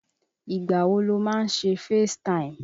Ìgbà wo lo máa ń ṣe FaceTime?